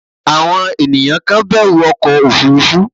àwọn ènìyàn kan bẹ̀rù ọkọ òfurufú